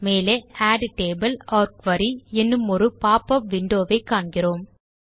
மேலே add table or query என்னும் ஒரு பாப் அப் விண்டோவை காண்கிறோம்